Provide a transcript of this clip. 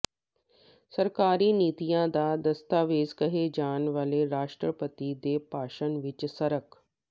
ਸਰਕਾਰੀ ਨੀਤੀਆਂ ਦਾ ਦਸਤਾਵੇਜ਼ ਕਹੇ ਜਾਣ ਵਾਲੇ ਰਾਸ਼ਟਰਪਤੀ ਦੇ ਭਾਸ਼ਣ ਵਿਚ ਸਰਕ